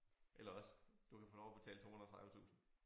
Eller også du kan få lov at betale 230 tusind